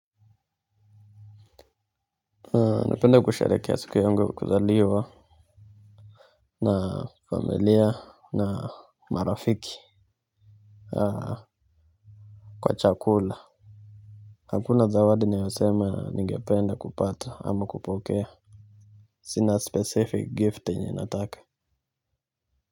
Napenda kusherehekea siku yangu ya kuzaliwa na familia na marafiki kwa chakula. Hakuna zawadi nayosema ningependa kupata ama kupokea. Sina specific gift yenye nataka.